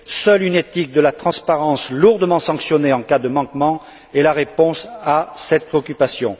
Seule une éthique de la transparence lourdement sanctionnée en cas de manquement est la réponse à cette préoccupation.